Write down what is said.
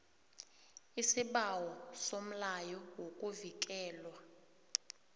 isibawo somlayo wokuvikelwa